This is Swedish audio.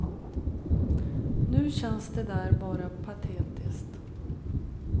Nu känns det där bara patetiskt.